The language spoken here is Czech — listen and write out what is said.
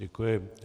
Děkuji.